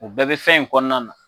O bɛɛ bɛ fɛn in kɔnɔna na.